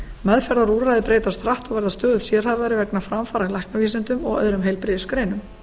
meðferðarúrræði breytast hratt og verða stöðugt sérhæfðari vegna framfara í læknavísindum og öðrum heilbrigðisgreinum